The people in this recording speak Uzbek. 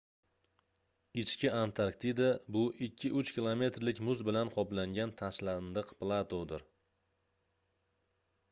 ichki antarktida bu 2-3 kilometrlik muz bilan qoplangan tashlandiq platodir